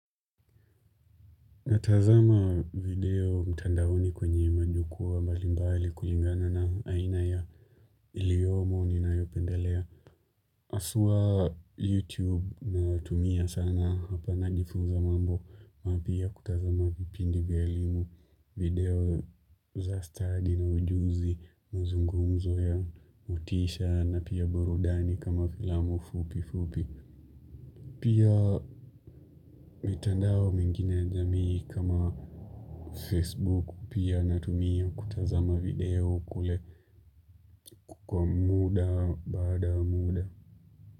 Natazama video mtandaoni kwenye majukwa mbalimbali kulingana na aina ya iliyomo ninayopenda lea. Hawsa YouTube na tumia sana hapa na njifuza mambo. Mapya kutazama vipindi vya elimu video za study na ujuzi mazungumzo ya motisha na pia burudani kama filamu fupi fupi. Pia mitandao mengine ya jamii kama Facebook pia natumia kutazama video kule kwa muda baada ya muda.